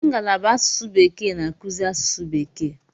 Ngalaba asụsụ bekee na-akụzi asụsụ bekee.